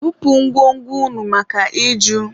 Bupu ngwo ngwo unu maka iju!